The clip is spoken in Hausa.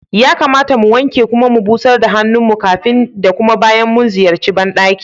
Ya kamata mu wanke kuma mu busar da hannun mu kafin da kuma bayan mu ziyarci ban ɗaki.